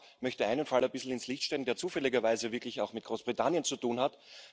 Ich möchte einen Fall etwas ins Licht rücken, der zufälligerweise wirklich auch mit Großbritannien zu tun hat.